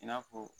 I n'a fɔ